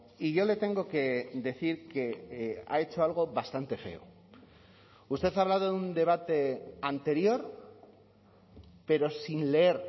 y yo le tengo que decir que ha hecho algo bastante feo usted ha hablado de un debate anterior pero sin leer